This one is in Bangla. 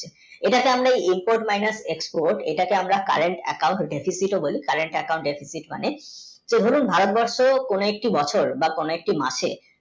এটা তা হলে inpot-expot এটাকে তাহলে আমার মানে তো দরুন ভারতবর্ষে কোনো একটি বছর বা কোনো একটি মাসে